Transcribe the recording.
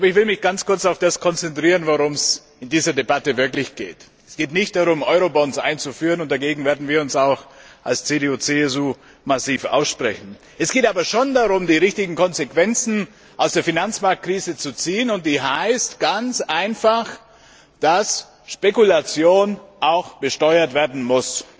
Ich will mich ganz kurz auf das konzentrieren, worum es in dieser Debatte wirklich geht. Es geht nicht darum, Eurobonds einzuführen und dagegen werden wir uns auch als CDU CSU massiv aussprechen sondern es geht darum, die richtigen Konsequenzen aus der Finanzmarktkrise zu ziehen, und das heißt ganz einfach, dass Spekulation auch besteuert werden muss.